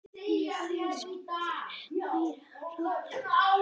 Ég hef þegar sagt þér meira en ráðlegt er.